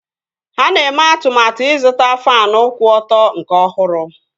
Ha na-eme atụmatụ ịzụta faanụ kwụ ọtọ nke ọhụrụ